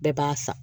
Bɛɛ b'a san